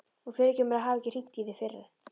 Og fyrirgefðu mér að hafa ekki hringt í þig fyrr.